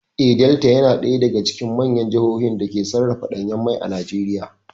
Eh, Delta ya na ɗaya daga cikin manyan jahohin dake sarrafa ɗanyan mai a Najeriya